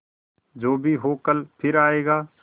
जो भी हो कल फिर आएगा